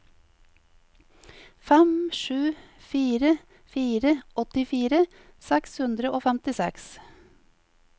fem sju fire fire åttifire seks hundre og femtiseks